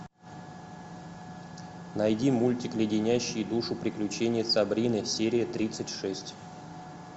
найди мультик леденящие душу приключения сабрины серия тридцать шесть